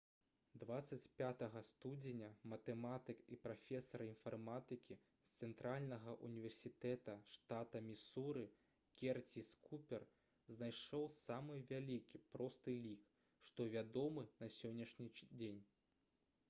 25 студзеня матэматык і прафесар інфарматыкі з цэнтральнага ўніверсітэта штата місуры керціс купер знайшоў самы вялікі просты лік што вядомы на сённяшні дзень